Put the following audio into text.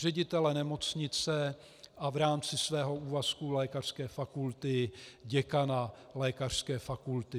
Ředitele nemocnice a v rámci svého úvazku lékařské fakulty děkana lékařské fakulty.